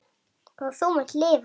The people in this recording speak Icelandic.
Og þú munt lifa!